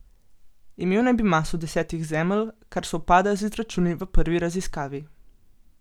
Imel naj bi maso desetih Zemelj, kar sovpada z izračuni v prvi raziskavi.